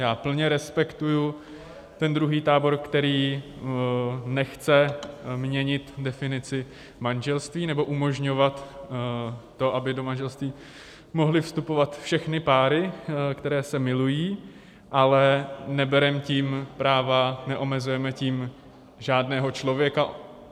Já plně respektuji ten druhý tábor, který nechce měnit definici manželství nebo umožňovat to, aby do manželství mohly vstupovat všechny páry, které se milují, ale nebereme tím práva, neomezujeme tím žádného člověka.